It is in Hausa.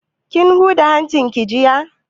Kin huda hancin ki jiya?